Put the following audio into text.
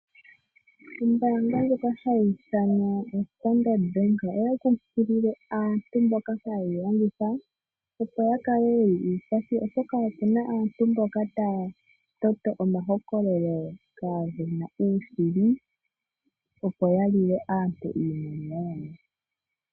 Ombaanga ndjoka hayi ithanwa oStandard bank oya kunkilile aantu mboka haye yilongitha opo ya kale yeli uupathi oshoka opu na aantu mboka taya toto omahokololo kaage na uushili opo yalile aantu iimaliwa yawo.